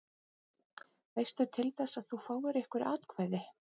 Veistu til þess að þú fáir einhver atkvæði?